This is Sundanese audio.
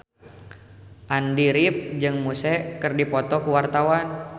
Andy rif jeung Muse keur dipoto ku wartawan